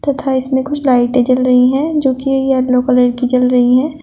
तथा इसमें कुछ लाइटें जल रही हैं जो कि येलो कलर की जल रही हैं।